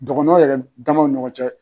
Dɔgɔnɔ yɛrɛ damaw ni ɲɔgɔn cɛ